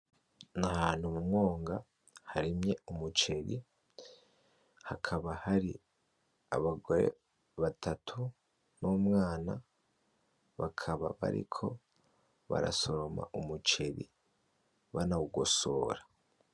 Nahantu mumwonga harimye umuceri, hakaba hari Abagore batatu n'umwana bakaba bariko barasoroma umuceri banawugosora.